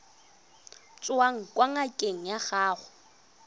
tswang kwa ngakeng ya gago